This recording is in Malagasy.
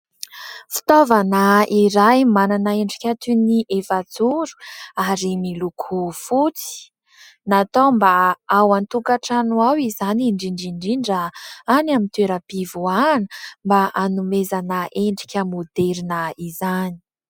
Fitaovana iray manana endrika toy ny efajoro ary miloko fotsy. Natao mba ao an-tokantrano ao izany, indrindra indrindra any amin'ny toeram-pivoahana, mba hanomezana endrika maoderina izany.